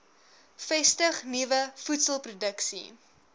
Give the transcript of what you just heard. vestig nuwe voedselproduksie